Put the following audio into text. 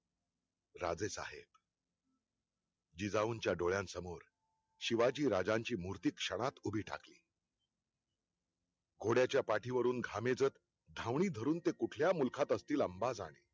राजेसाहेब जिजाऊंच्या डोळ्यासमोर, शिवाजी राजांची मुर्ति क्षणात उभी ठाकली घोड्याचा पाठीवरून घामेजत, धावणी धरून ते कुठल्या मुल्खात असतील ते अम्बा जाणे